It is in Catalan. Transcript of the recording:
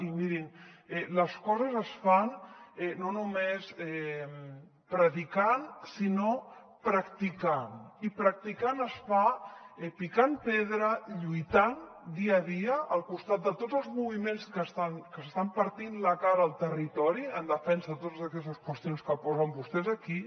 i mirin les coses es fan no només predicant sinó practicant i practicant es fa picant pedra lluitant dia a dia al costat de tots els moviments que s’estan partint la cara al territori en defensa de totes aquestes qüestions que posen vostès aquí